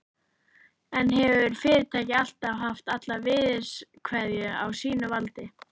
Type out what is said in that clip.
En hefur fyrirtækið alltaf haft alla virðiskeðjuna á sínu valdi?